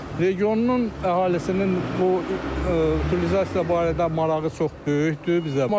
Regionun əhalisinin bu utilizasiya barədə marağı çox böyükdür bizə.